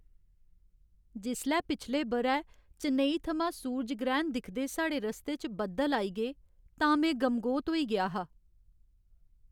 जिसलै पिछले ब'रै चेन्नई थमां सूरज ग्रैह्ण दिखदे साढ़े रस्ते च बद्दल आई गे तां में गमगोत होई गेआ हा।